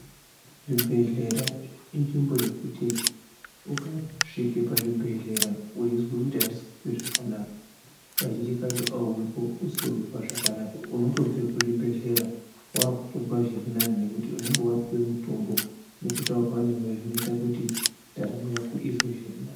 Zvibhehlera inzvimbo yekuti ukasvike pazvibhehlera weizwe kuti andisi kuhwe zvakanaka kazhinji kacho auuyipo usiri kunzwa zvakanaka unotobve kuzvibhehlera wakutozwa zviri nani nekuti unenge wapuwe mutombo nekutaurirwa newe zvinoita kuti ndaramo yako izwe zviri nani.